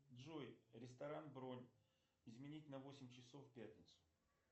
джой ресторан бронь изменить на восемь часов пятница